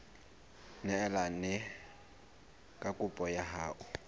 neelane ka kopo ya hao